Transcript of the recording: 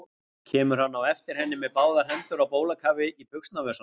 Hann kemur á eftir henni með báðar hendur á bólakafi í buxnavösunum.